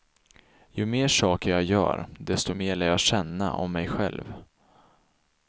Ju mer saker jag gör desto mer lär jag känna om mig själv.